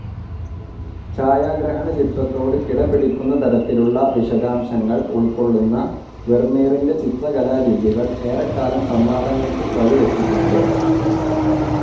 ഛായാഗ്രഹണചിത്രത്തോട് കിടപിടിക്കുന്നതരത്തിലുള്ള വിശദാംശങ്ങൾ ഉൾക്കൊള്ളുന്ന വെർമീറിൻ്റെ ചിത്രകലാരീതികൾ ഏറെക്കാലം സംവാദങ്ങൾക്ക് വഴിവച്ചിട്ടുണ്ട്.